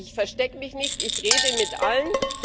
Also ich verstecke mich nicht, ich rede mit allen.